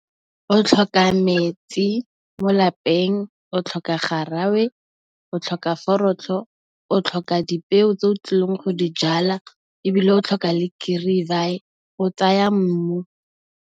O tlhoka metsi mo lapeng, o tlhoka garawe, o tlhoka forotlho, o tlhoka dipeo tse o tlileng go di jala, ebile o tlhoka le kirivaye go tsaya mmu.